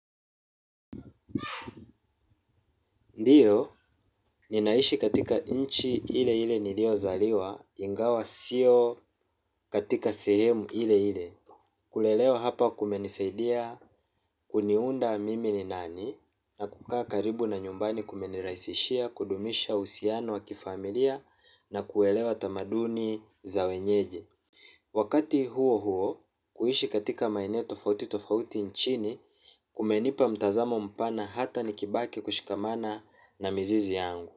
Ndio, ninaishi katika nchi ile ile nilio zaliwa, ingawa sio katika sehemu ile ile. Kulelewa hapa kumenisaidia, kuniunda mimi ni nani, na kukaa karibu na nyumbani kumenirahiisishia, kudumisha uhusiano wa kifamilia, na kuelewa tamaduni za wenyeji wakati huo huo kuishi katika maeneo tofauti tofauti nchini kumenipa mtazamo mpana hata nikibaki kushikamana na mizizi yangu.